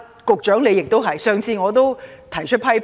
局長亦如是，我曾提出批評。